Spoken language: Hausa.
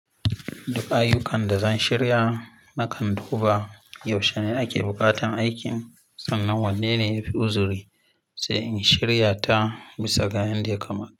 Duk ayyukan da zan shirya nakan duba yaushe ne ake buƙatan aikin sannan wanne ne yafi uzuri sai in shirya ta bisa ga yanda ya kamata.